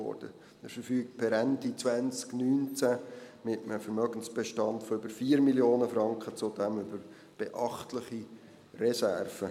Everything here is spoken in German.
Er verfügt per Ende 2019 mit einem Vermögensbestand von über 4 Mio. Franken zudem über beachtliche Reserven.